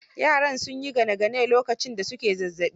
Yaran sun yi gane gane lokacin da su ke zazzaɓi